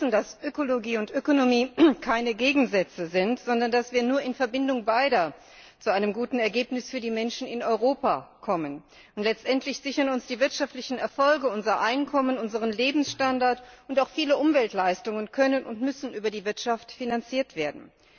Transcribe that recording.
Aber wir wissen, dass Ökologie und Ökonomie keine Gegensätze sind, sondern dass wir nur in Verbindung beider zu einem guten Ergebnis für die Menschen in Europa kommen. Und letztendlich sichern uns die wirtschaftlichen Erfolge unser Einkommen, unseren Lebensstandard, und auch viele Umweltleistungen können und müssen über die Wirtschaft finanziert werden.